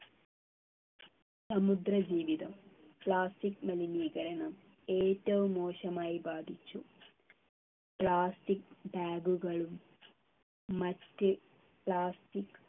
സമുദ്ര ജീവിതം plastic മലിനീകരണം ഏറ്റവും മോശമായി ബാധിച്ചു plastic bag കളും മറ്റ് plastic